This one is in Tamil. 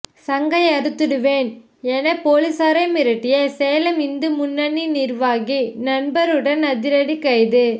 சங்கை அறுத்துடுவேன் என போலீசை மிரட்டிய சேலம் இந்து முன்னணி நிர்வாகி நண்பருடன் அதிரடி கைது